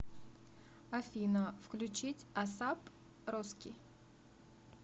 афина включить асап роски